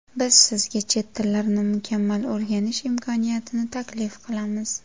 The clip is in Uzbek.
Biz sizga chet tillarini mukammal o‘rganish imkoniyatini taklif qilamiz.